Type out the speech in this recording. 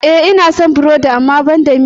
E, ina son burodi amma banda miya.